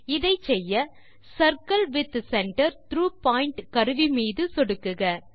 இதை செய்ய circle with centre through point கருவி மீது சொடுக்குக